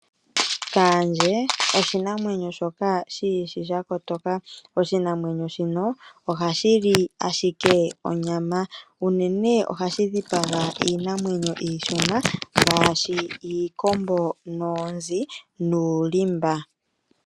Okaandje oshinamwenyo shoka shi ishi sha kotoka. Oshinamwenyo shino ohashi li ashike onyama. Unene ohashi dhipaga iishona ngaashi, iikombo noonzi nuulimba.